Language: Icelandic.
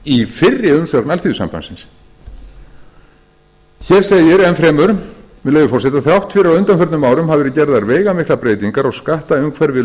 í fyrri umsögn alþýðusambandsins hér segir enn fremur með leyfi forseta þrátt fyrir að á undanförum árum hafi verið gerðar veigamiklar breytingar á skattaumhverfi